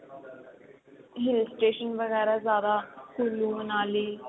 hill station ਵਗੈਰਾ ਜਿਆਦਾ ਕੁਲੂ ਮਨਾਲੀ